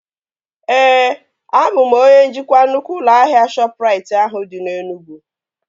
Ee, abụ m onye njikwa nnukwu ụlọ ahịa Shọpụrait ahụ dị na Enugwu